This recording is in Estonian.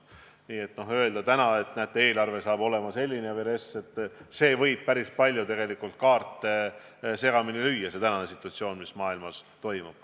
Nii et kui öelda täna, et näete, eelarve või RES saab olema selline, võib see tänane situatsioon, see, mis maailmas toimub, tegelikult päris palju kaarte segamini lüüa.